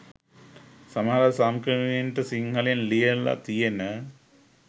සමහර සංක්‍රමණිකයන්ට සිංහලෙන් ලියල තියෙන